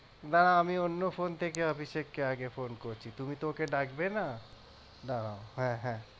দাড়াও আমি অন্য phone থেকে অভিষেককে আগে phone করছি তুমি তো ওকে ডাকবে না দাড়াও হ্যাঁ হ্যাঁ